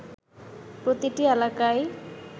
প্রতিটি এলাকায়